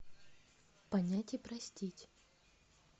понять и простить